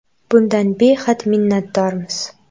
Bundan behad minnatdormiz”.